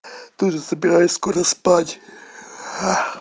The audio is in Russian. тоже собираюсь скоро спать